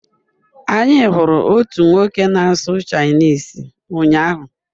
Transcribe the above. Anyị hụrụ otu nwoke na-asụ Chinese ụnyahụ